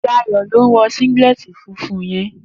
Dayo ló n wò síngìlètí fúnfún yèn